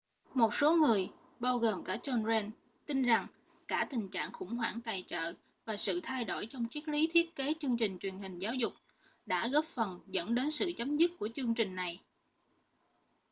một số người bao gồm cả john grant tin rằng cả tình trạng khủng hoảng tài trợ và sự thay đổi trong triết lý thiết kế chương trình truyền hình giáo dục đã góp phần dẫn đến sự chấm dứt của chương trình này